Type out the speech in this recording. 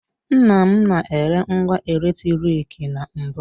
Nnam na-ere ngwa eletrik na mbụ.